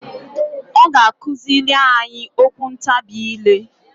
Ọ ga akụzịlị anyị okwu ntabị ile.